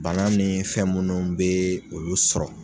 Bana ni fɛn munnu bɛ olu sɔrɔ.